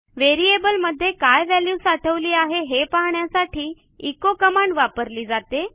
व्हेरिएबलमध्ये काय व्हॅल्यू साठवली आहे हे पाहण्यासाठी एचो कमांड वापरली जाते